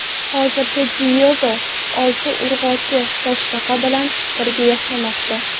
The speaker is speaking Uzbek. Hozirda Diyego olti urg‘ochi toshbaqa bilan birga yashamoqda.